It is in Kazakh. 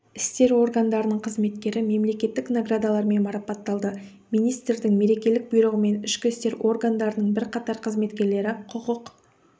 істер органдарының қызметкері мемлекеттік наградалармен марапатталды министрдің мерекелік бұйрығымен ішкі істер органдарының бірқатар қызметкерлері құқық